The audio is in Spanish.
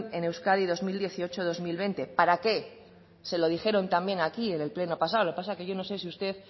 en euskadi dos mil dieciocho dos mil veinte para qué se lo dijeron también aquí en el pleno pasado lo que pasa que yo no sé si usted